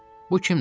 Bu kimdir?